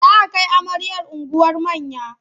Za a kai amaryar unguwar manya.